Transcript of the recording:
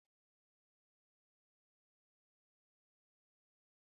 Matasan jarumai masu girman shekarun Agu sun tsaya a faɗake, suna tsare mutanensu daga farmaki.